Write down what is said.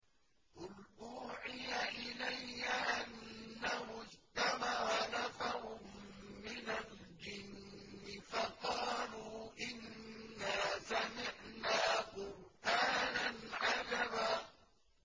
قُلْ أُوحِيَ إِلَيَّ أَنَّهُ اسْتَمَعَ نَفَرٌ مِّنَ الْجِنِّ فَقَالُوا إِنَّا سَمِعْنَا قُرْآنًا عَجَبًا